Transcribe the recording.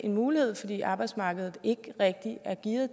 mulighed fordi arbejdsmarkedet ikke rigtig er gearet